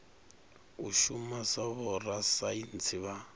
u shuma sa vhorasaintsi vha